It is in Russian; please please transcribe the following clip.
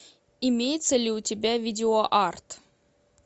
имеется ли у тебя видео арт